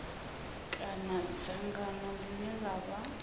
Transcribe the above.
kana dzangano ḽine ḽa vha